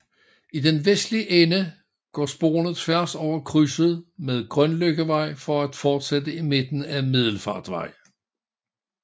I den vestlige ende går sporene tværs over krydset med Grønløkkevej for at fortsætte i midten ad Middelfartvej